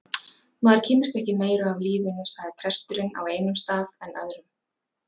Maður kynnist ekki meiru af lífinu sagði presturinn, á einum stað en öðrum.